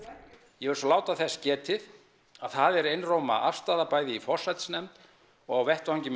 ég vil svo láta þess getið að það er einróma afstaða bæði í forsætisnefnd og á vettvangi með